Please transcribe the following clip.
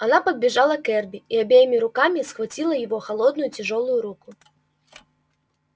она подбежала к эрби и обеими руками схватила его холодную тяжёлую руку